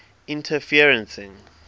interferencing